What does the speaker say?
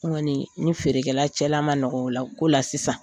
N kɔni n ni feerekɛla cɛla man nɔgɔ o ko la sisan